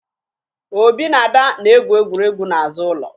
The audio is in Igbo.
Obi na Ada na-egwu egwuregwu n'azụ ụlọ